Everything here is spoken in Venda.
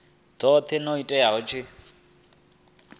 dzothe na u ita tsheo